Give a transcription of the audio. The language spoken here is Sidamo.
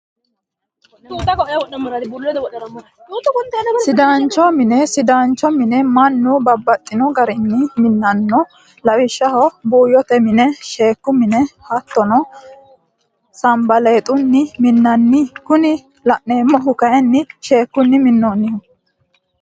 Sidaancho mine, sidaancho mine manu babaxino garinni minanno lawishaho buuyote mine, sheeku mine hattonno sambaleexunni mi'nanno, kuni la'neemohu kayini sheekunni minoniho